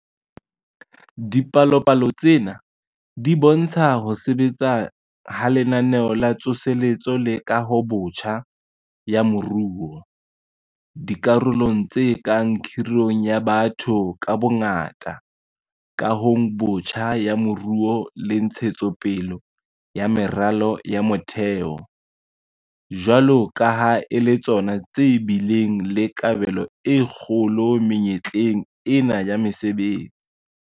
Dipalopalo tsena di bo ntsha ho sebetsa ha Lenaneo la Tsoseletso le Kahobotjha ya Moruo - dikarolong tse kang kgirong ya batho ka bongata, kahong botjha ya moruo le ntshetso pele ya meralo ya motheo - jwalo ka ha e le tsona tse bileng le kabelo e kgolo menyetleng ena ya mesebetsi.